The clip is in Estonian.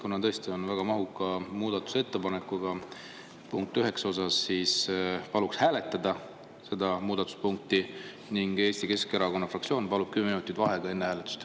Kuna punkt üheksa on tõesti väga mahukas muudatusettepanek, siis palun hääletada seda muudatuspunkti ning Eesti Keskerakonna fraktsioon palub kümme minutit vaheaega enne hääletust.